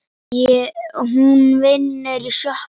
Hún vinnur í sjoppu